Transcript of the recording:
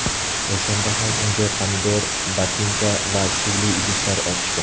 O‘shanda ham unga pomidor, botinka va suvli idishlar otishgan.